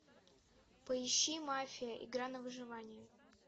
поищи мафия игра на выживание